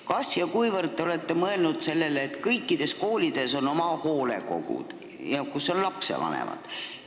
Kas te olete mõelnud sellele, et kõikides koolides on oma hoolekogu, kuhu kuuluvad lapsevanemad?